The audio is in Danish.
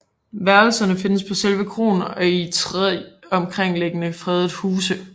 Værelserne findes på selve kroen og i 3 omkringliggende fredede huse